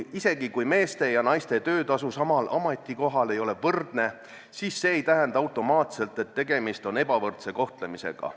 Isegi kui meeste ja naiste töötasu samal ametikohal ei ole võrdne, siis see ei tähenda automaatselt, et tegemist on ebavõrdse kohtlemisega.